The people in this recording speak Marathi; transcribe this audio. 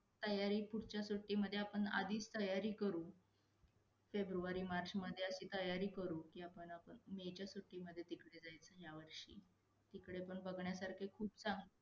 खूप नाही म्हणता येणार, पण ठीक आहे लक्ष दिल पाहिजे की आपण. आपणजर आपल्या सोबत दोन जणांना घेऊन जात असू तर ह्याचा फायदा इतरांनाही होऊ शकतो. त्याचप्रमाणे पुढे जाऊ आपल्याला ही त्या गोष्टींचा फायदा होऊ शकतो हे आपण नाही सांगू शकत.